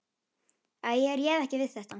Æ, ég réð ekki við þetta.